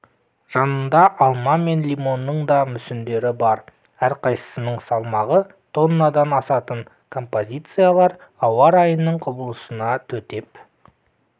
жанында алма мен лимонның да мүсіндері бар әрқайсысының салмағы тоннадан асатын композициялар ауа райының құбылысына төтеп